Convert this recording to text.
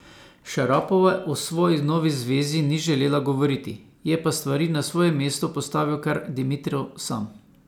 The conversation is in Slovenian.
Šarapova o svoji novi zvezi ni želela govoriti, je pa stvari na svoje mesto postavil kar Dimitrov sam.